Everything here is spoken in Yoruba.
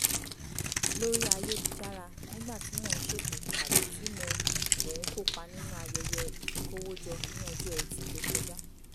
lórí ayélujára nígbà tí mo ń ṣètò tàbí tí mo mo ń kópa nínú ayẹyẹ ìfikówójọ ní ọjọ́ ẹtì tó kọjá